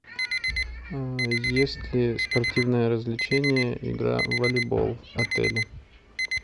есть ли спортивное развлечение игра в волейбол в отеле